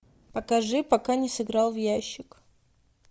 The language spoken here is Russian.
покажи пока не сыграл в ящик